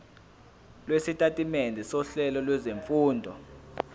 lwesitatimende sohlelo lwezifundo